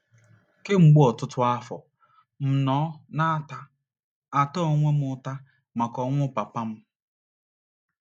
Kemgbe ọtụtụ afọ, m nọ na - ata - ata onwe m ụta maka ọnwụ papa m.